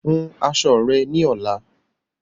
Hun aṣọ rẹ ni ọ̀la!